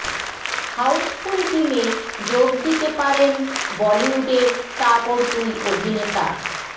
Housefull টিমে যোগ দিতে পারেন বলিউডের তাবড় দুই অভিনেতা